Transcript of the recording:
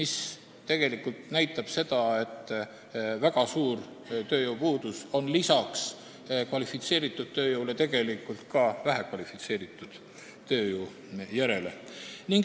See näitab seda, et lisaks väga suurele vajadusele kvalifitseeritud tööjõu järele on tegelikult väga suur vajadus ka vähekvalifitseeritud tööjõu järele.